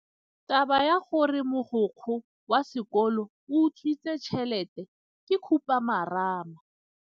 Taba ya gore mogokgo wa sekolo o utswitse tšhelete ke khupamarama.